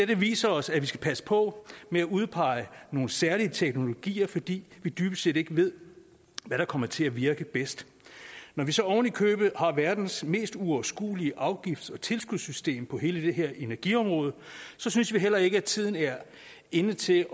det viser os at vi skal passe på med at udpege nogle særlige teknologier fordi vi dybest set ikke ved hvad der kommer til at virke bedst når vi så oven i købet har verdens mest uoverskuelige afgifts og tilskudssystem på hele det her energiområde synes vi heller ikke tiden er inde til